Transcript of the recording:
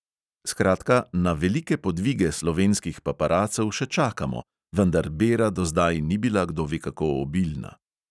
Skratka, na velike podvige slovenskih paparacev še čakamo, vendar bera do zdaj ni bila kdo ve kako obilna.